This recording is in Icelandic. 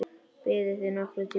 Biðuð þið nokkurn tíma?